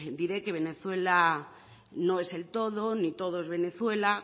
diré que venezuela no es el todo ni todo es venezuela